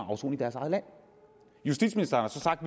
afsone i deres eget land justitsministeren har så sagt